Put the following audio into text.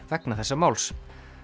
vegna þessa máls